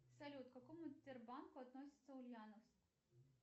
салют к какому тербанку относится ульяновск